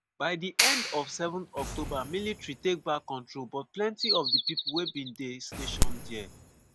by di end of 7 october military take back control but plenti of di pipo wey bin dey stationed dia